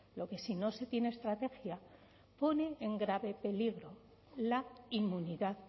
lo que si no se tiene estrategia pone en grave peligro la inmunidad